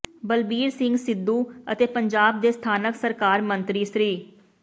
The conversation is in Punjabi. ਬਲਬੀਰ ਸਿੰਘ ਸਿੱਧੂ ਅਤੇ ਪੰਜਾਬ ਦੇ ਸਥਾਨਕ ਸਰਕਾਰ ਮੰਤਰੀ ਸ੍ਰ